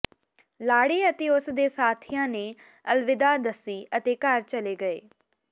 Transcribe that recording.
ਲਾੜੇ ਅਤੇ ਉਸ ਦੇ ਸਾਥੀਆਂ ਨੇ ਅਲਵਿਦਾ ਦੱਸੀ ਅਤੇ ਘਰ ਚਲੇ ਗਏ